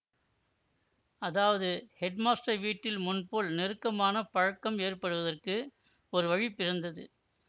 அதாவது ஹெட்மாஸ்டர் வீட்டில் முன்போல் நெருக்கமான பழக்கம் ஏற்படுவதற்கு ஒரு வழி பிறந்தது